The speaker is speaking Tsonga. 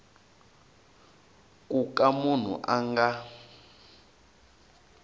ku ka munhu a nga